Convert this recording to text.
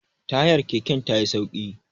tayar keken ta yi sauki